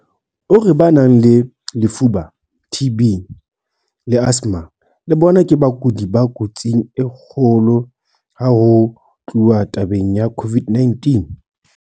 O re ba nang le lefuba, TB, le asthma le bona ke bakudi ba kotsing e kgolo ha ho tluwa tabeng ya COVID-19.